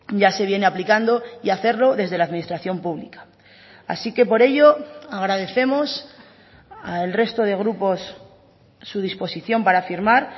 ya se viene aplicando y hacerlo desde la administración pública así que por ello agradecemos al resto de grupos su disposición para firmar